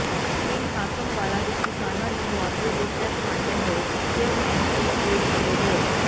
ਪਿੰਡ ਹਾਕਮ ਵਾਲਾ ਵਿੱਚ ਕਿਸਾਨਾਂ ਨੂੰ ਮੁਆਵਜ਼ੇ ਦੇ ਚੈਕ ਵੰਡਦੇ ਹੋਏ ਚੇਅਰਮੈਨ ਕਲੀਪੁਰ ਅਤੇ ਹੋਰ